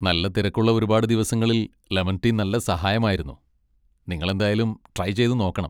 നല്ല തിരക്കുള്ള ഒരുപാട് ദിവസങ്ങളിൽ ലെമൺ ടീ നല്ല സഹായമായിരുന്നു, നിങ്ങളെന്തായാലും ട്രൈ ചെയ്തുനോക്കണം.